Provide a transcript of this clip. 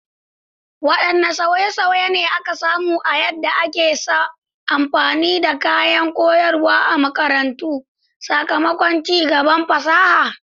Wadanne sauye-sauye ne aka samu a yadda ake amfani da kayan koyarwa a makarantu sakamakon ci gaban fasaha?